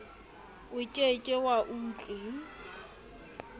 o ke ke wa utlwi